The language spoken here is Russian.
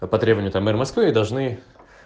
а по требования там мэра москвы должны